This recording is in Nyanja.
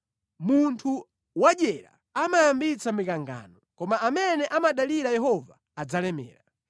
Munthu wadyera amayambitsa mikangano, koma amene amadalira Yehova adzalemera.